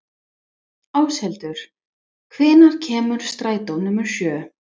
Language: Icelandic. Áshildur, hvenær kemur strætó númer sjö?